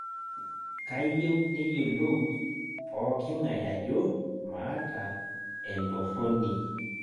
kayieu neyiolou pooking'ae ajo maata entorroni